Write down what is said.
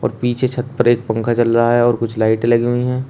और पीछे छत पर एकं पंखा चल रहा है और कुछ लाइटे लगी हुई हैं।